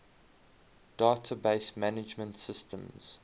database management systems